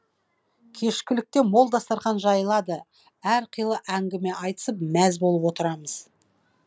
кешкілікте мол дастарқан жайылады әрқилы әңгіме айтысып мәз болып отырамыз